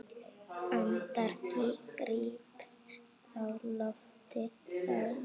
Andann gríp á lofti þá.